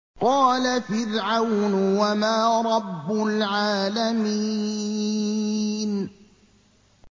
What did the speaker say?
قَالَ فِرْعَوْنُ وَمَا رَبُّ الْعَالَمِينَ